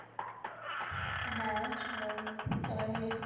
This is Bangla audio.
হ্যাঁ সবাই সবাই মিলে